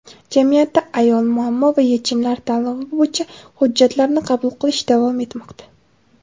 "Jamiyatda ayol: muammo va yechimlar" tanlovi bo‘yicha hujjatlarni qabul qilish davom etmoqda.